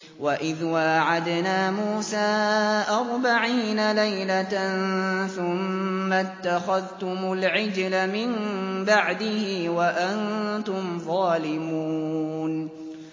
وَإِذْ وَاعَدْنَا مُوسَىٰ أَرْبَعِينَ لَيْلَةً ثُمَّ اتَّخَذْتُمُ الْعِجْلَ مِن بَعْدِهِ وَأَنتُمْ ظَالِمُونَ